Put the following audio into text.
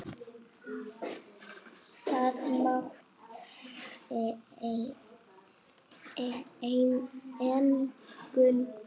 Það mátti engu muna.